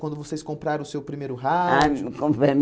Quando vocês compraram o seu primeiro rádio? Ah hum